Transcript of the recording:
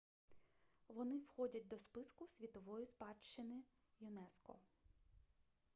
вони входять до списку світової спадщини юнеско